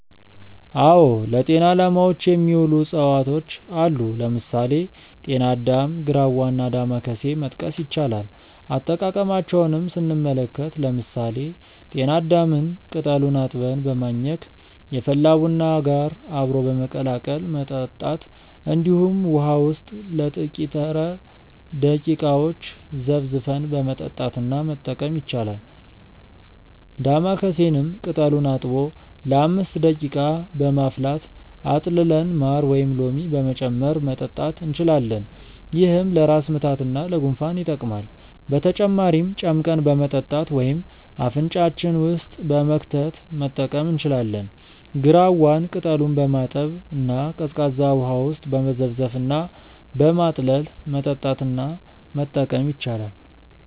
አዎ ለጤና አላማዎች የሚውሉ እፅዋቶች አሉ። ለምሳሌ: ጤና አዳም፣ ግራዋ እና ዳማከሴ መጥቀስ ይቻላል። አጠቃቀማቸውንም ስንመለከት ለምሳሌ ጤና አዳምን ቅጠሉን አጥበን በማኘክ፣ የፈላ ቡና ጋር አብሮ በመቀላቀል መጠጣት እንዲሁም ውሃ ውስጥ ለጥቂተረ ደቂቃዎች ዘፍዝፈን በመጠጣት እና መጠቀም ይቻላል። ዳማከሴንም ቅጠሉን አጥቦ ለ5 ደቂቃ በማፍላት አጥልለን ማር ወይም ሎሚ በመጨመር መጠጣት እንችላለን። ይህም ለራስ ምታት እና ለጉንፋን ይጠቅማል። በተጨማሪም ጨምቀን በመጠጣት ወይም አፍንጫችን ውስጥ በመክተት መጠቀም እንችላለን። ግራዋን ቅጠሉን በማጠብ እና ቀዝቃዛ ውሃ ውስጥ በመዘፍዘፍ እና በማጥለል መጠጣት እና መጠቀም ይቻላል።